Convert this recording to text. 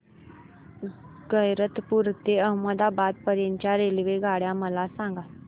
गैरतपुर ते अहमदाबाद पर्यंत च्या रेल्वेगाड्या मला सांगा